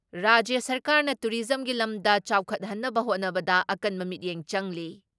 ꯔꯥꯖ꯭ꯌ ꯁꯔꯀꯥꯔꯅ ꯇꯨꯔꯤꯖꯝꯒꯤ ꯂꯝꯗ ꯆꯥꯎꯈꯠꯍꯟꯅꯕ ꯍꯣꯠꯅꯕꯗ ꯑꯀꯟꯕ ꯃꯤꯠꯌꯦꯡ ꯆꯪꯂꯤ ꯫